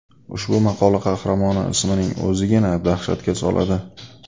Ushbu maqola qahramoni ismining o‘zigina dahshatga soladi.